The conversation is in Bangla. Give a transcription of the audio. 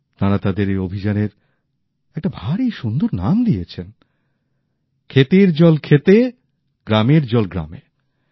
তাঁরা তাঁদের এই অভিযানের একটা ভারী সুন্দর নাম দিয়েছেন ক্ষেতের জল ক্ষেতে গ্রামের জল গ্রামে